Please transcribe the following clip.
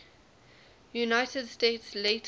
united states later